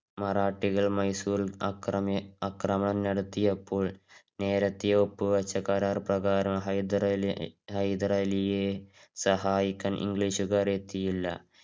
മറാഠികൾ മൈസൂരില് അക്രമി~ ആക്രമം നടത്തിയപ്പോൾ നേരേതഹേ ഒപ്പ് വച്ച കരാര് പ്രകാരം ഹൈദരലി~ ഹൈദരലിയെ സഹായിക്കാൻ ഇംഗീഷ്ക്കാർ എത്തിയില്ല.